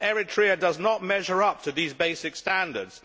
Eritrea does not measure up to these basic standards.